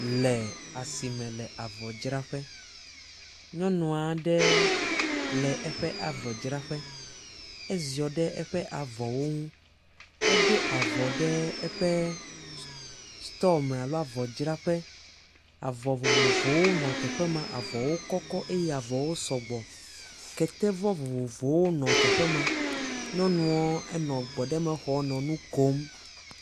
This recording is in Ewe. Le asi me le avɔdzraƒe. Nyɔnu aɖe le eƒe avɔdzraƒe, eziɔ ɖe eƒe avɔwo ŋu, eɖo avɔ ɖe eƒe stɔɔ me alo eƒe avɔdzraƒe. Avɔ vovovowo nɔ teƒe ma, avɔwo kɔkɔ eye avɔwo sɔgbɔ. Ketevɔ vovovowo nɔ teƒe ma. Nyɔnuɔ enɔ egbɔɖeme xɔm nɔ nu kom.